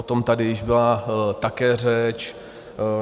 O tom tady již byla také řeč.